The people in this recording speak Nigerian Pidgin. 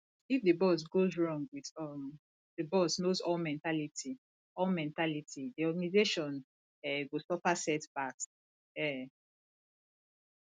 if di boss goes wrong with um the boss knows all mentality all mentality di organisation um go suffer setbacks um